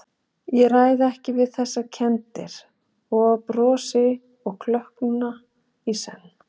Ég ræð ekki við þessar kenndir- og ég brosi og klökkna í senn.